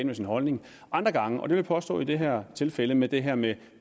med sin holdning andre gange og det vil jeg påstå i det her tilfælde med det her med